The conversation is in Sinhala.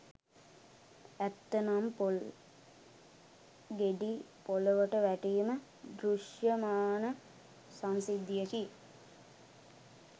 ඇත්ත නම් පොල් ගෙඩි පොළොවට වැටීම දෘෂ්‍යමාන සංසිද්ධියකි.